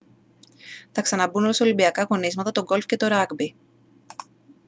θα ξαναμπούν ως ολυμπιακά αγωνίσματα το golf και το rugby